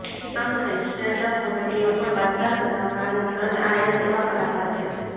આમને સ્ટેન્ડઅપ કોમેડીનો પણ બાદશાહ કહેવામાં આવે છે અને આ એક એવા કલાકાર છે